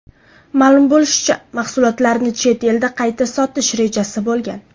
Ma’lum bo‘lishicha, mahsulotlarni chet elda qayta sotish rejasi bo‘lgan.